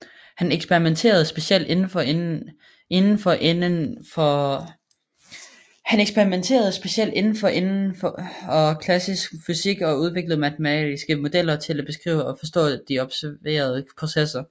Hans eksperimenterede specielt indenfor inden for klassisk fysik og udviklede matematiske modeller til at beskrive og forstå de observerede processer